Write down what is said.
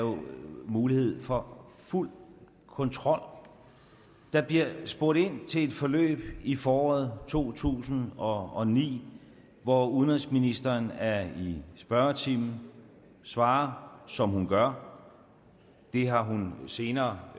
mulighed for fuld kontrol der bliver spurgt ind til et forløb i foråret to tusind og ni hvor udenrigsministeren er i spørgetimen og svarer som hun gør det har hun senere